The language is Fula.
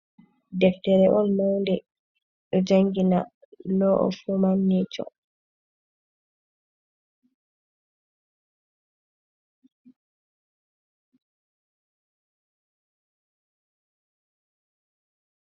Deftere on mownde do jangina, lo of wuman nesho.